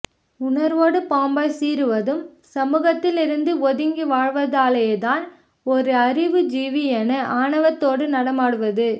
உணர்வோடு பாம்பாய் சீறுவதும் சமூகத்திலிருந்து ஒதுங்கி வாழ்வதாலேயே தான் ஒரு அறிவுஜீவி என ஆணவத்தோடு நடமாடுவது